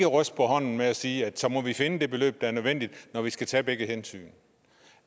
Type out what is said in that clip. ryste på hånden men sige at så må vi finde det beløb der er nødvendigt når vi skal tage begge hensyn